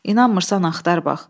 İnanmırsan axtar bax.